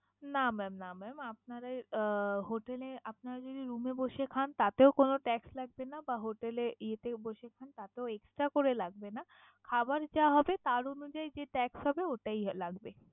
না mam না mam আপনারা এই আহ hotel এ আপনাদেরই room এ বসে খান তাতেও কোন tax লাগবে না বা hotel এ ইয়েতেও বসে খান তাতেও extra করে লাগবে না। খাবার যা হবে তার অনুযায়ী যে tax হবে ওটাই লাগবে।